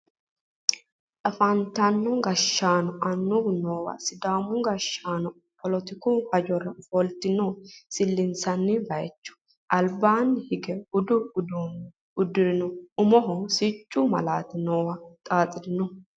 Afantino gashshaanonna annuwu noowa sidaamu gashshaano poletiku hajora ofoltanno silsaawu bayeecho albaanni hige budu uddano uddire umoho siccu malaati nooha xaaxire no